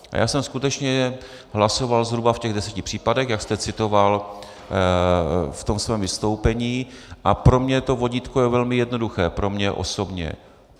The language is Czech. A já jsem skutečně hlasoval zhruba v těch deseti případech, jak jste citoval v tom svém vystoupení, a pro mě to vodítko je velmi jednoduché, pro mě osobně.